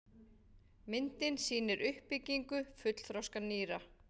Myndin sýnir uppbyggingu fullþroska nýra.